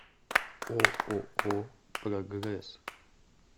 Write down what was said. ооо прогресс